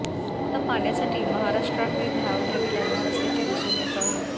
आता पाण्यासाठी महाराष्ट्राकडे धाव घ्यावी लागणार असल्याचे दिसून येत आहे